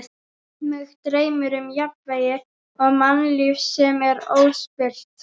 Mig dreymir um jafnvægi og mannlíf sem er óspillt.